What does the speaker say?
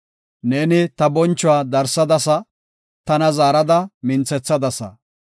Neeni ta bonchuwa darsadasa; tana zaarada minthethadasa.